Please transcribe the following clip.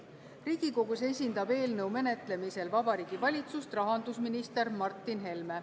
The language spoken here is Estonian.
Riigikogus esindab eelnõu menetlemisel Vabariigi Valitsust rahandusminister Martin Helme.